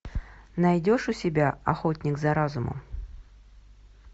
найдешь у себя охотник за разумом